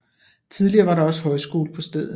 Tidligere var der også højskole på stedet